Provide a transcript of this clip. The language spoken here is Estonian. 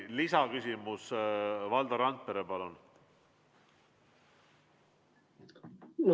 Lisaküsimus, Valdo Randpere, palun!